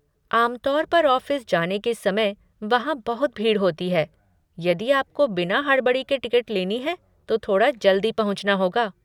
आम तौर पर ऑफ़िस जाने के समय वहाँ बहुत भीड़ होती है, यदि आपको बिना हड़बड़ी के टिकट लेनी है तो थोड़ा जल्दी पहुँचना होगा।